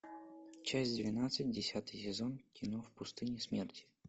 часть двенадцать десятый сезон кино в пустыне смерти